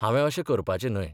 हांवें अशें करपाचें न्हय.